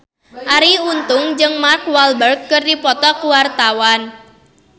Arie Untung jeung Mark Walberg keur dipoto ku wartawan